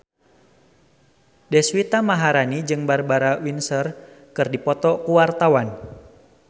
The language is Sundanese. Deswita Maharani jeung Barbara Windsor keur dipoto ku wartawan